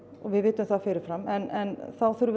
við vitum það fyrir fram en þá þurfum